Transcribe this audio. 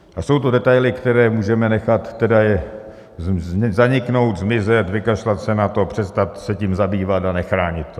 A jsou to detaily, které můžeme nechat tedy zaniknout, zmizet, vykašlat se na to, přestat se tím zabývat a nechránit to.